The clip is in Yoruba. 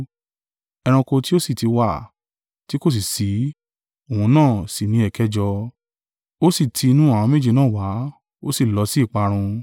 Ẹranko tí ó sì ti wà, tí kò sì ṣí, òun náà sì ni ẹ̀kẹjọ, ó sì ti inú àwọn méje náà wá, ó sì lọ sí ìparun.